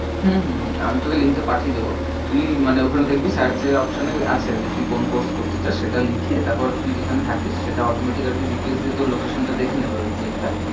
হম হম হম আমি তোকে link টা পাঠিয়ে দেব তুই মানে ওখানে দেখবি search এ option এ আছে যে তুই কোন course চাশ সেটা লিখে তারপর তুই যেখানে থাকিস সেটা automatic আর কি GPS দিয়ে তোর location টা আর কি দেখে নেবে